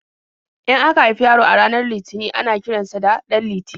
In aka haifi yaro a ranar Litinin ana kiran sa da 'Ɗanliti'.